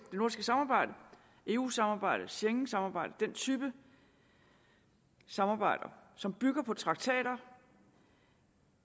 samarbejde eu samarbejdet schengensamarbejdet den type samarbejder som bygger på traktater